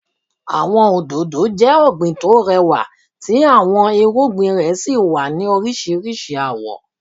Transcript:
Àwọn òdòdó jẹ ọgbín tó rẹwà tí àwọn irúgbìn rẹ sí wá ní oríṣiríṣi awọ̀.